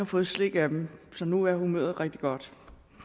fået slik af dem så nu er humøret rigtig godt